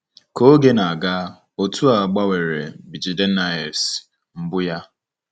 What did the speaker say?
Ka oge na-aga, otu a gbanwere bJidennaefs mbụ ya.